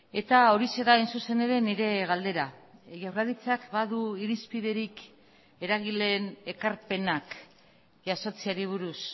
eta horixe da hain zuzen ere nire galdera jaurlaritzak badu irizpiderik eragileen ekarpenak jasotzeari buruz